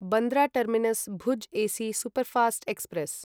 Bandra terminus Bhuj AC superfast express